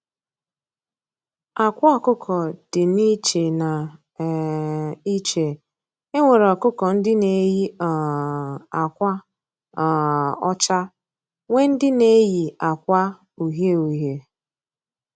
Àkwà ọkụkọ dị na iche na um iche, enwere ọkụkọ ndị n'éyi um àkwà um ọchá, nwee ndị n'éyi àkwà uhiē uhiē